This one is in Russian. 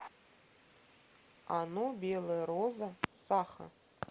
ано белая роза саха